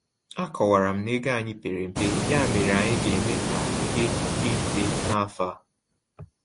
Akọwara m na ego anyị pere mpe, ya mere anyị ga-eme ka ihe dị mfe n’afa.